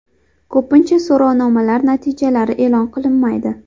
Ko‘pincha so‘rovnomalar natijalari e’lon qilinmaydi.